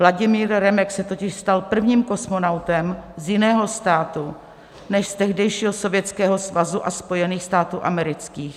Vladimír Remek se totiž stal prvním kosmonautem z jiného státu než z tehdejšího Sovětského Svazu a Spojených států amerických.